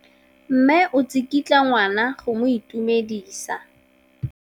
Mme o tsikitla ngwana go mo itumedisa.